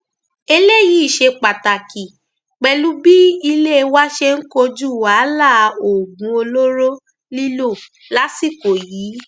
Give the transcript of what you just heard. eléyìí ṣe pàtàkì pẹlú bí ilé wa ṣe ń kojú wàhálà oògùn olóró lílò lásìkò yìí